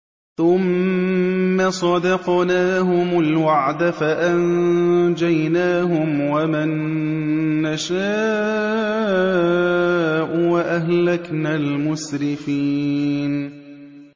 ثُمَّ صَدَقْنَاهُمُ الْوَعْدَ فَأَنجَيْنَاهُمْ وَمَن نَّشَاءُ وَأَهْلَكْنَا الْمُسْرِفِينَ